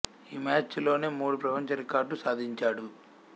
ఈ మ్యాచ్ లోనే మూడు ప్రపంచ రికార్డ్ లు సాధించాడు